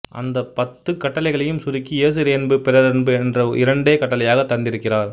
அந்த பத்துக் கட்டளைகளையும் சுருக்கி இயேசு இறையன்பு பிறரன்பு என்ற இரண்டேக் கட்டளைகளாகத் தந்திருக்கிறார்